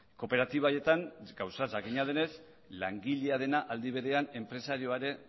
kooperatiba haietan gauza jakina denez langilea dena aldi berean enpresarioa ere